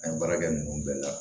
An ye baara kɛ ninnu bɛɛ la